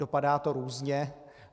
Dopadá to různě.